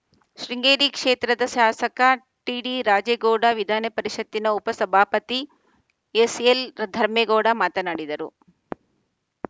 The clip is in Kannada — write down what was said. ಶೃಂಗೇರಿ ಕ್ಷೇತ್ರದ ಶಾಸಕ ಟಿಡಿ ರಾಜೇಗೌಡ ವಿಧಾನಪರಿಷತ್‌ನ ಉಪ ಸಭಾಪತಿ ಎಸ್‌ಎಲ್‌ ಧರ್ಮೇಗೌಡ ಮಾತನಾಡಿದರು